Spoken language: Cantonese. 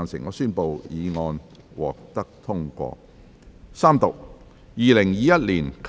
我宣布議案獲得通過。